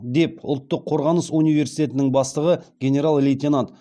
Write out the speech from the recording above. деп ұлттық қорғаныс университетінің бастығы генерал лейтенант